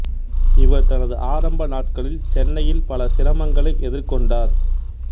இவர் தனது ஆரம்ப நாட்களில் சென்னையில் பல சிரமங்களை எதிர்கொண்டார்